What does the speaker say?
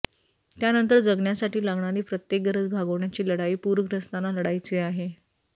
त्यानंतर जगण्यासाठी लागणारी प्रत्येक गरज भागवण्याची लढाई पूरग्रस्तांना लढायची आहे